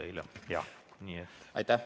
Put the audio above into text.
Aa, vabandust!